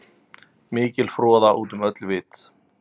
Mikil froða út um öll vit.